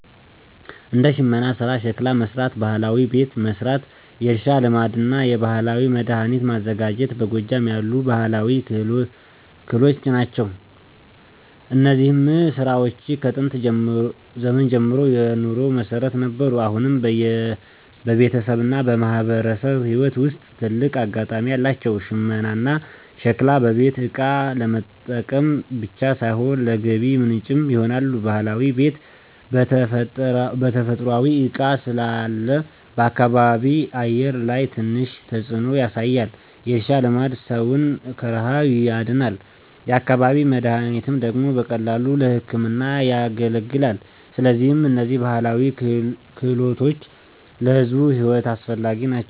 እንደ ሽመና ሥራ፣ ሸክላ መሥራት፣ ባህላዊ ቤት መሥራት፣ የእርሻ ልማድና የባህላዊ መድኃኒት ማዘጋጀት በጎጃም ያሉ ባህላዊ ክህሎት ናቸው። እነዚህ ሥራዎች ከጥንት ዘመን ጀምሮ የኑሮ መሠረት ነበሩ፣ አሁንም በቤተሰብና በማህበረሰብ ሕይወት ውስጥ ትልቅ አጋጣሚ አላቸው። ሽመናና ሸክላ በቤት እቃ ለመጠቀም ብቻ ሳይሆን ለገቢ ምንጭም ይሆናሉ። ባህላዊ ቤት በተፈጥሯዊ እቃ ስላለ በአካባቢ አየር ላይ ትንሽ ተጽዕኖ ያሳያል። የእርሻ ልማድ ሰውን ከረሃብ ያድናል፤ የአካባቢ መድኃኒት ደግሞ በቀላሉ ለሕክምና ያገለግላል። ስለዚህ እነዚህ ባህላዊ ክህሎቶች ለሕዝብ ሕይወት አስፈላጊ ናቸው።